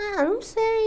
Ah, não sei.